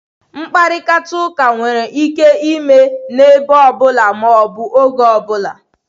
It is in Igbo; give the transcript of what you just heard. Mkparịta ụka nwere ike ime n'ebe ọ bụla ma ọ bụ oge ọ bụla.